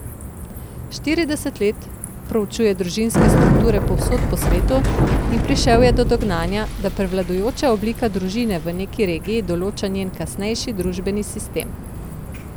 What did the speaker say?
Štirideset let proučuje družinske strukture povsod po svetu in prišel je do dognanja, da prevladujoča oblika družine v neki regiji določa njen kasnejši družbeni sistem.